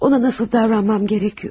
Ona necə davranmalıyam?